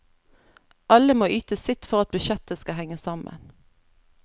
Alle må yte sitt for at budsjettet skal henge sammen.